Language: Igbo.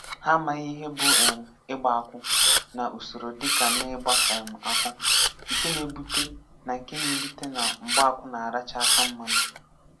Hà amaghị ihe bụ́ um ìgbà akwù, na usoro dị ka n’ígbà um akwù, nke na-ebute na nke na-ebute na mgbaakwù na-áràchá aka mmanụ̀.